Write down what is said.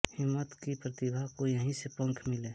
हिम्मत की प्रतिभा को यहीं से पंख मिले